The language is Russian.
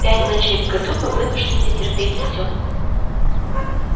пять ночей в году мы вынуждены терпеть всё